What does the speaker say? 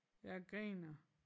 Jeg griner